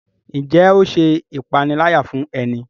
Njé o ṣe ìpaniláyà fún e ní?